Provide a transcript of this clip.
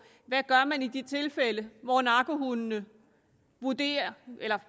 hvad gør man i de tilfælde hvor narkohunde